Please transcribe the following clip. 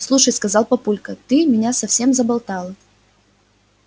слушай сказал папулька ты меня совсем заболтала